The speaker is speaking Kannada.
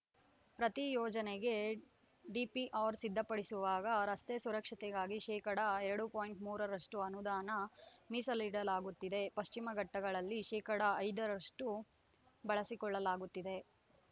ಪ್ರತಿ ಯೋಜನೆಗೆ ಡಿಪಿಆರ್‌ ಸಿದ್ದಪಡಿಸುವಾಗ ರಸ್ತೆ ಸುರಕ್ಷತೆಗಾಗಿ ಶೇಕಡಾ ಎರಡು ಪಾಯಿಂಟ್ ಮೂರರಷ್ಟು ಅನುದಾನ ಮೀಸಲಿಡಲಾಗುತ್ತಿದೆ ಪಶ್ಚಿಮ ಘಟ್ಟಗಳಲ್ಲಿ ಶೇಕಡಾ ಐದರಷ್ಟುಬಳಸಿಕೊಳ್ಳಲಾಗುತ್ತಿದೆ